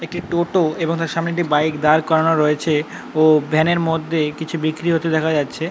একটি টোটো এবং তার সামনে একটি বাইক দাঁড় করানো রয়েছে ও ভ্যান এর মধ্যে কিছু বিক্রি হতে দেখা যাচ্ছে।